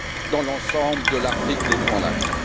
dans l'ensemble de l'Afrique des Grands Lacs.